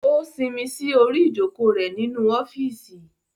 O sinmi sí orí ijoko rẹ nínú ọfiisi